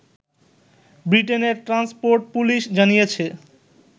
ব্রিটেনের transport police জানিয়েছে